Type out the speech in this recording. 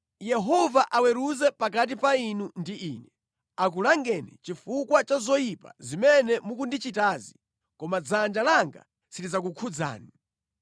Yehova aweruze pakati pa inu ndi ine, akulangeni chifukwa cha zoyipa zimene mukundichitazi, koma dzanja langa silidzakukhudzani.